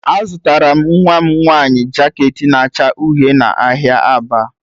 Azụtara m nwa m nwanyị jaket na-acha uhie n'ahịa Aba.